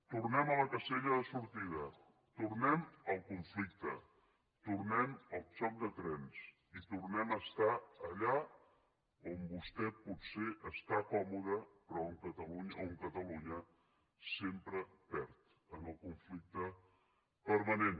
tornem a la casella de sortida tornem al conflicte tornem al xoc de trens i tornem a ser allà on vostè potser està còmode però on catalunya sempre perd en el conflicte permanent